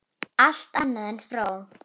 Allt annað en fró!